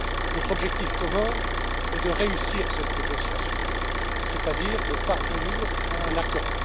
Notre objectif commun est de réussir cette négociation, c'est à dire de parvenir à un accord.